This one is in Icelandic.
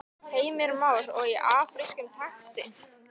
Heimir Már: Og í afrískum takti?